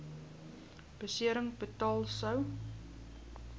besering betaal sou